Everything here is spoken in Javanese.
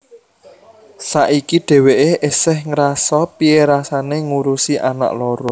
Saiki dheweké esih ngerasa piye rasané ngurusi anak loro